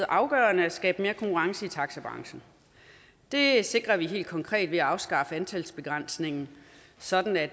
afgørende at skabe mere konkurrence i taxibranchen det sikrer vi helt konkret ved at afskaffe antalsbegrænsningen sådan at